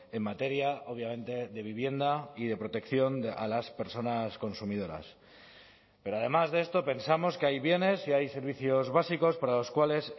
en materia obviamente de vivienda y de protección a las personas consumidoras pero además de esto pensamos que hay bienes y hay servicios básicos para los cuales